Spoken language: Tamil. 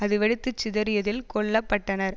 அது வெடித்து சிதறியதில் கொல்ல பட்டனர்